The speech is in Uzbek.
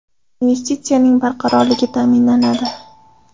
Investitsiyaning barqarorligi ta’minlanadi.